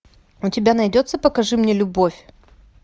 у тебя найдется покажи мне любовь